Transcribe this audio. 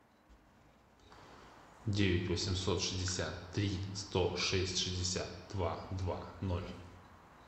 девять восемьсот шестьдесят три сто шесть шестьдесят два два ноль